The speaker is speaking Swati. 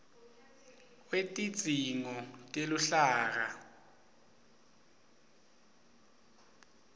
wetidzingo teluhlaka